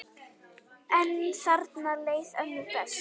En þarna leið ömmu best.